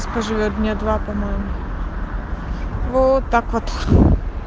скажи мне два по-моему вот так вот